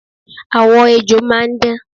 Àwọ ejò máa ń dán